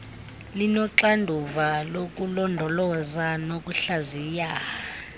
linoxanduva lokulondoloza nokuhlaziya